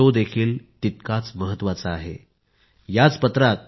if you do it is an amazing achievement and must be applauded